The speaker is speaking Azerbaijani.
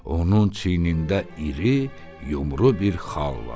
Onun çiynində iri, yumru bir xal var.